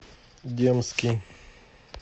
демский